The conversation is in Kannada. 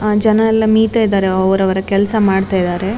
ಆ ಜನ ಎಲ್ಲ ಮೀಯ್ತಾ ಇದ್ದಾರೆ ಅವರವರ ಕೆಲಸ ಮಾಡ್ತಿದ್ದಾರೆ.